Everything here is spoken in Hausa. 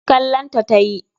Kallon ta tayi.